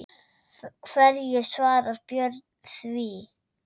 Hverju svarar Björn því?